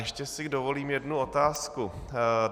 Ještě si dovolím jednu otázku.